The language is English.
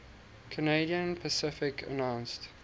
canadian pacific announced